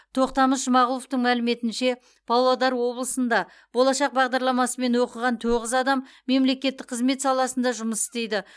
тоқтамыс жұмағұловтың мәліметінше павлодар облысында болашақ бағдарламасымен оқыған тоғыз адам мемлекеттік қызмет саласында жұмыс істейді